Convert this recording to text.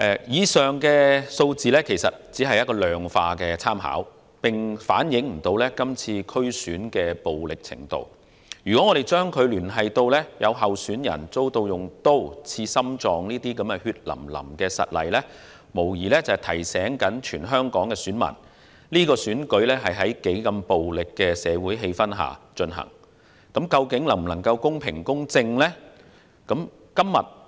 以上數字只是一個量化的參考，並未能反映這次區選的暴力程度，如果將之聯繫到有候選人遭人用刀刺向心臟的血淋淋實例，這無疑是在提醒全港選民，是次選舉是在多麼暴力的社會氣氛下進行，究竟能否公平及公正地舉行呢？